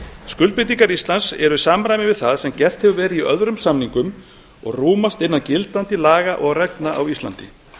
skuldbindingar íslands eru í samræmi við það sem gert hefur verið í öðrum samningum og rúmast innan gildandi laga og reglna á íslandi